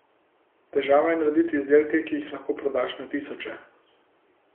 Težava je narediti izdelke, ki jih lahko prodaš na tisoče.